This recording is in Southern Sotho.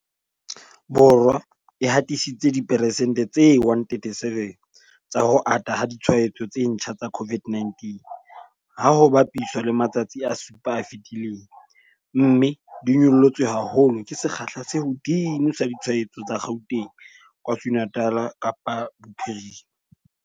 Borwa e hatisitse diperesente tse 137 tsa ho ata ha ditshwaetso tse ntjha tsa COVID-19, ha ho bapiswa le matsatsi a supa a fetileng, mme di nyollotswe haholo ke sekgahla se hodimo sa ditshwaetso tsa Gauteng, KwaZulu-Natal, Kapa Bophirima.